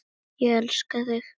Ég elska þig!